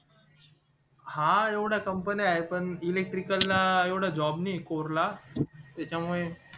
हा येवढ्या company आहे पण electrical ला येवढा job नाही score ला त्याच्या मुळे